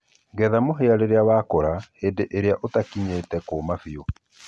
getha mũhĩa orĩrĩ wakũra hĩndĩ ĩrĩa ũtakĩnyĩte kũma bĩũ